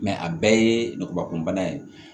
a bɛɛ ye ngubakun bana ye